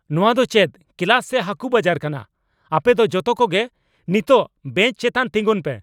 ᱱᱚᱣᱟ ᱫᱚ ᱪᱮᱫ ᱠᱞᱟᱥ ᱥᱮ ᱦᱟᱠᱚ ᱵᱟᱡᱟᱨ ᱠᱟᱱᱟ ? ᱟᱯᱮ ᱫᱚ ᱡᱚᱛᱚ ᱠᱚᱜᱮ ᱱᱤᱛᱚᱜ ᱵᱮᱧᱪ ᱪᱮᱛᱟᱱ ᱛᱮᱸᱜᱚᱱ ᱯᱮ !